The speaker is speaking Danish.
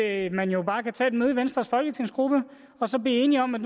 at man bare kan tage et møde i venstres folketingsgruppe og så blive enige om at